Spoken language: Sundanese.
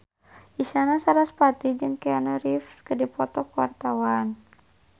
Isyana Sarasvati jeung Keanu Reeves keur dipoto ku wartawan